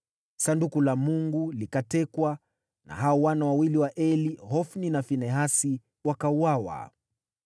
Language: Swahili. Sanduku la Mungu likatekwa, na hao wana wawili wa Eli, Hofni na Finehasi, wakauawa.